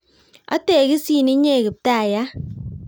Ategisin inye kiptaiyat